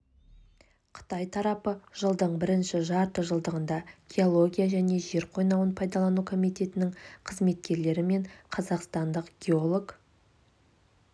қытай тарапы жылдың бірінші жарты жылдығында геология және жер қойнауын пайдалану комитетінің қызметкерлері мен қазақстандық геолог